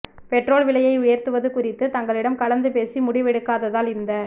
petrol விலையை உயர்த்துவது குறித்து தங்களிடம் கலந்து பேசி முடிவெடுக்காததால் இந்த